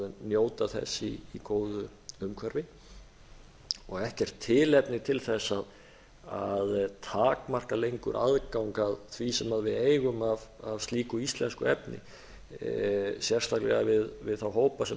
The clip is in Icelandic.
njóta þess í góðu umhverfi og ekkert tilefni til að takmarka lengur aðgang að því sem við eigum af slík íslensku efni sérstaklega við þá hópa sem